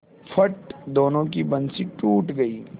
फट दोनों की बंसीे टूट गयीं